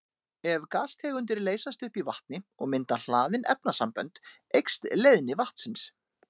Ef gastegundir leysast upp í vatni og mynda hlaðin efnasambönd eykst leiðni vatnsins.